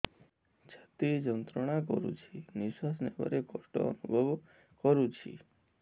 ଛାତି ଯନ୍ତ୍ରଣା କରୁଛି ନିଶ୍ୱାସ ନେବାରେ କଷ୍ଟ ଅନୁଭବ କରୁଛି